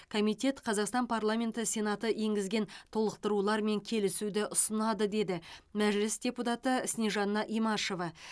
комитет қазақстан парламенті сенаты енгізген толықтырулармен келісуді ұсынады деді мәжіліс депутаты снежанна имашева